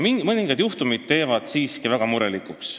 Mõningad juhtumid teevad siiski väga murelikuks.